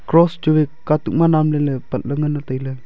cross chua katuk namle le patle ngan taile.